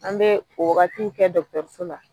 An bɛ o waagatiw kɛ dɔgɔtɔrɔso la.